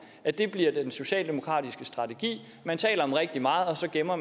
at det bliver den socialdemokratiske strategi at man taler om rigtig meget og så gemmer